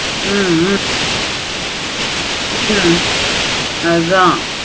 ஹம் உம் ஹம் அத